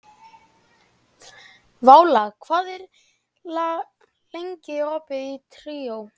Váli, hvað er lengi opið í Tríó?